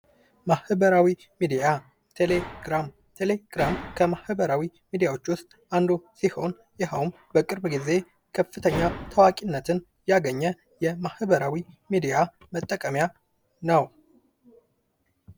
ማህበራዊ ሚዲያ ፡-ቴሌግራም ከማህበራዊ ሚዲያዎች ውስጥ አንዱ ሲሆን በቅርብ ጊዜ ታዋቂነትን ያገኘ የማህበራዊ ሚዲያ መጠቀሚያ ነው ።